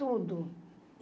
Tudo.